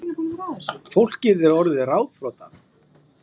Fólkið er orðið ráðþrota